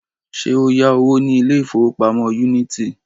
Ṣé o yá owó ní ilé ìfowópamọ́ Unity?